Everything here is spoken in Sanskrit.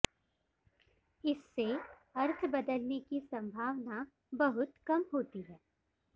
इससे अर्थ बदलने की सम्भावना बहुत कम होती है